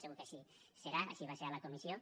segur que així serà així va ser a la comissió